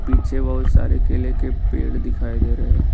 पीछे बहुत सारे केले के पेड़ दिखाई दे रहे--